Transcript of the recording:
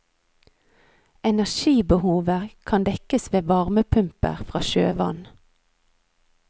Energibehovet kan dekkes ved varmepumper fra sjøvann.